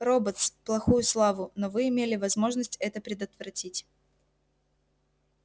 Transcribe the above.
роботс плохую славу но вы имели возможность это предотвратить